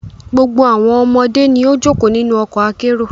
Gbogbo awọn ọmọde ni o joko ninu ọkọ akero